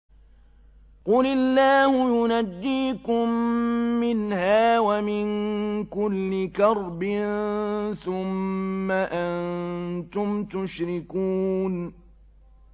قُلِ اللَّهُ يُنَجِّيكُم مِّنْهَا وَمِن كُلِّ كَرْبٍ ثُمَّ أَنتُمْ تُشْرِكُونَ